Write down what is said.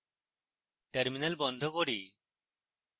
terminal বন্ধ করি